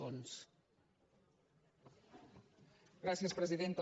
gràcies presidenta